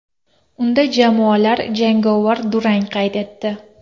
Unda jamoalar jangovar durang qayd etdi.